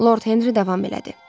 Lord Henri davam elədi.